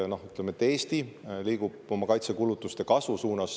Ütleme, et Eesti liigub oma kaitsekulutuste kasvu suunas.